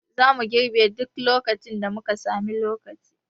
Zamu girbe duk lokacin da muka sami lokaci